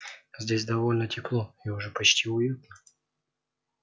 здесь довольно тепло и уже почти уютно